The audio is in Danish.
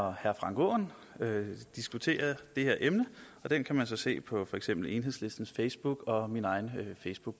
og herre frank aaen diskuterer det her emne og den kan man så se på for eksempel enhedslistens facebook og min egen